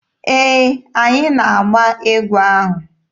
Ee, anyị na-agba egwu ahụ.